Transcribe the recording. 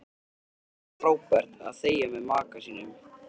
Það getur verið frábært að þegja með maka sínum.